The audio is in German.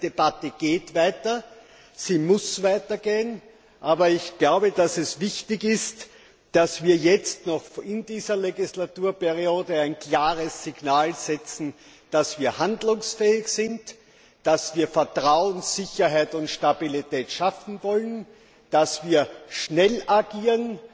Das heißt, die Debatte geht weiter, sie muss weitergehen, aber ich glaube, dass es wichtig ist, dass wir jetzt noch in dieser Wahlperiode ein klares Signal setzen, dass wir handlungsfähig sind, dass wir Vertrauen, Sicherheit und Stabilität schaffen wollen, dass wir schnell agieren